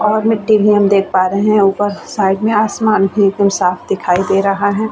और मिट्टी भी हम देख पा रहे है ऊपर साइड में आसमान भी एकदम साफ़ दिखाई दे रहा है।